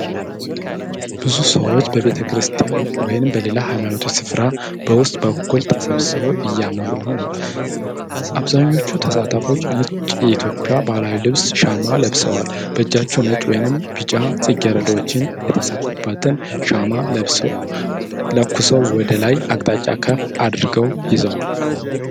ብዙ ሰዎች በቤተ ክርስቲያን ወይም በሌላ ሃይማኖታዊ ስፍራ በውስጥ በኩል ተሰብስበው እየዘመሩ ነው። አብዛኞቹ ተሳታፊዎች ነጭ የኢትዮጵያ ባህላዊ ልብስ ሸማ ለብሰዋል። በእጃቸው ነጭ ወይም ቢጫ ጽጌረዳዎች የተሰኩበትን ሻማ ለኩሰው ወደ ላይ አቅጣጫ ከፍ አድርገው ይዘዋል።